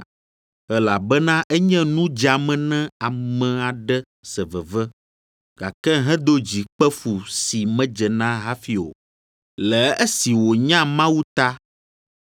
Elabena enye nu dzeame ne ame aɖe se veve, gake hedo dzi kpe fu si medze na hafi o, le esi wònya Mawu ta.